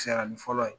Siranin fɔlɔ ye